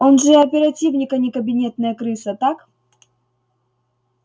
он же оперативник а не кабинетная крыса так